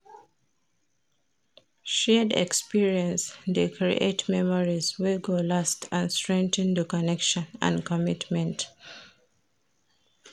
Shared experience de create memories wey go last and strengthen di connection and commitment